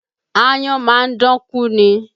Aáyán máa dán kú ni